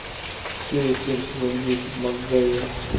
серия семь сезон десять макгайвер